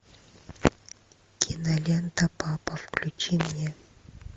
кинолента папа включи мне